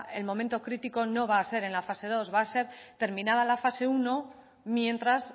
el momento crítico no va a ser en la fase segundo va a ser terminada la fase primero mientras